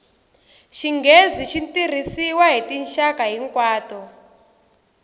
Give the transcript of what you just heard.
xinghezi xi tirhisiwa hi tinxaka hinkwato